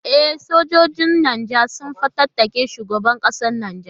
E, sojojin Nijar sun fatattaki shugaban kasar Nijar.